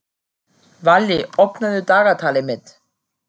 Valli, opnaðu dagatalið mitt.